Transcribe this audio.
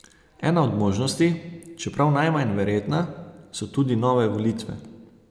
Ena od možnosti, čeprav najmanj verjetna, so tudi nove volitve.